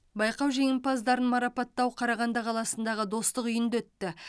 байқау жеңімпаздарын марапаттау қарағанды қаласындағы достық үйінде өтті